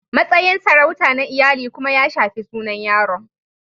Matsayin sarauta na iyali kuma ya shafi sunan yaron)